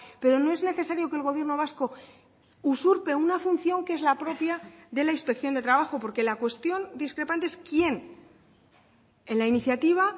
pero no es necesario que el gobierno vasco usurpe una función que es la propia de la inspección de trabajo porque la cuestión discrepante es quién en la iniciativa